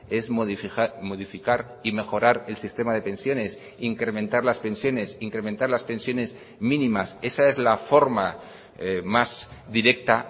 es modificar y mejorar el sistema de pensiones incrementar las pensiones incrementar las pensiones mínimas esa es la forma más directa